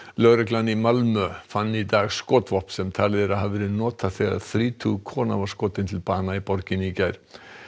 lögreglan í Malmö í fann í dag skotvopn sem talið er að hafi verið notað þegar þrítug kona var skotin til bana í borginni í gær